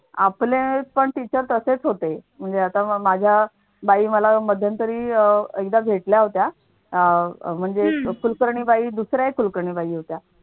आपले पण teachers तसेच होते म्हणजे आता माझ्या बाई मला मध्यंतरी अह एकदा भेटल्या होत्या अह म्हणजे कुलकर्णीबाई दुसऱ्या कुलकर्णीबाई होत्या.